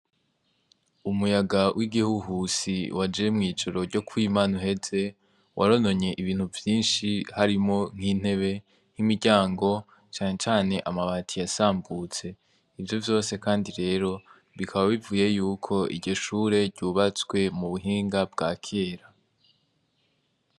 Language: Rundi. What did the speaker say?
Umuyaga w'igihuhusi waje mw'ijoro ryo kwimana uheze warononye ibintu vyinshi harimo nk'intebe nk'imiryango canecane amabati yasambutse ivyo vyose, kandi rero bikaba bivuye yuko iryoshure ryubatswe mu buhinga bwa kera.